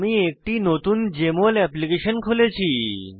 আমি একটি নতুন জেএমএল এপ্লিকেশন খুলেছি